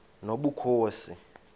nobukhosi